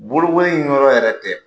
Bolokoli in yɔrɔ yɛrɛ tɛ,